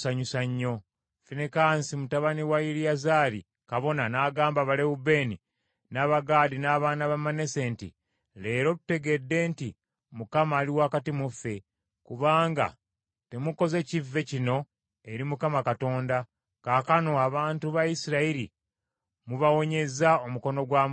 Finekaasi mutabani wa Eriyazaali kabona n’agamba Abalewubeeni n’Abagaadi n’abaana ba Manase nti, “Leero tutegedde nti Mukama ali wakati mu ffe, kubanga temukoze kivve kino eri Mukama Katonda, kaakano abantu ba Isirayiri mubawonyezza omukono gwa Mukama Katonda.”